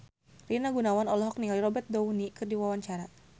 Rina Gunawan olohok ningali Robert Downey keur diwawancara